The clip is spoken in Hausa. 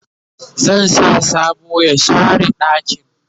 zan sa sambo ya share ɗakin